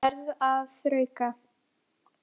Verð að þrauka.